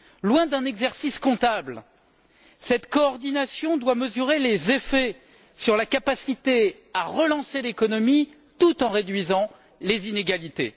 Loin d'un exercice comptable, cette coordination doit mesurer les effets sur la capacité à relancer l'économie tout en réduisant les inégalités.